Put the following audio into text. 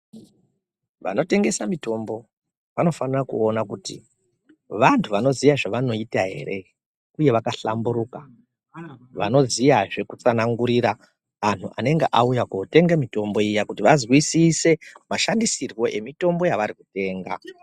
Vano tengesa mutombo vano fanire kuona kuti vantu vano ziya zvavanoita ere uye vaka hlamburika vano ziyazve ku tsanangurira anhu anenge auya kuno tenga mitombo iya kuti va zwisise mashandiswiro e mitombo yavari kutenga.